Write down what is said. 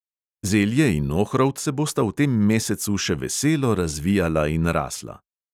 Zelje in ohrovt se bosta v tem mesecu še veselo razvijala in rasla.